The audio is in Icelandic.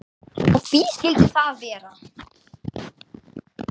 Og hví skildi það vera?